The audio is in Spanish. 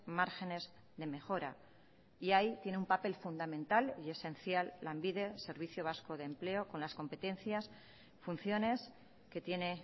márgenes de mejora y ahí tiene un papel fundamental y esencial lanbide servicio vasco de empleo con las competencias funciones que tiene